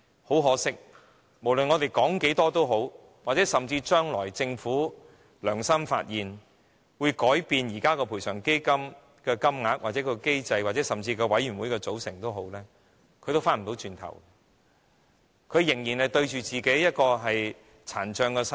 很可惜，無論我們說了多少也好，或甚至將來的政府"良心發現"，改變現行賠償基金的資助金額或機制，甚至委員會的組成，但這些病者也無法回到過去，他們仍要面對其殘障的身體。